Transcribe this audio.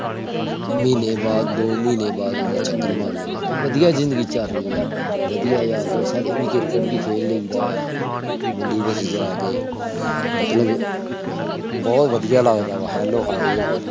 ਮਹੀਨੇ ਵਾਦ ਦੋ ਮਹੀਨੇ ਬਾਦ ਚਕਰ ਮਾਰ ਲੈਣਾ। ਵਧੀਆ ਜ਼ਿੰਦਗੀ ਚਲ ਰਹੀ ਆ। ਵਧੀਆ ਯਾਰ ਦੋਸਤ ਆ cricket ਵੀ ਖੇਡ ਲਈ ਦਾ ਆ। ਮੰਡੀ ਵਿਚ ਜਾਕੇ ਮਤਲਬ ਬਹੁਤ ਵਧੀਆ ਲਗਦਾ ਆ। hello hi